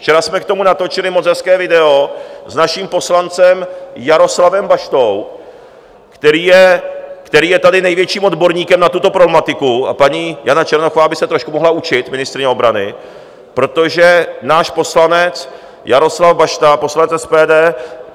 Včera jsme k tomu natočili moc hezké video s naším poslancem Jaroslavem Baštou, který je tady největším odborníkem na tuto problematiku, a paní Jana Černochová by se trošku mohla učit, ministryně obrany, protože náš poslanec Jaroslav Bašta, poslanec SPD,